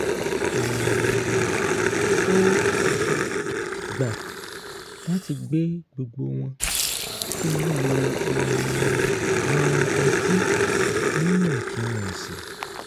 um ó gbà láti gbé gbogbo wo̩n kí wón lè um mu ọtí níwọ̀n-tún-wọ̀n sì